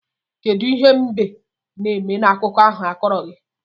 Kedu ihe mbe na-eme n'akụkọ ahụ a kọrọ gi?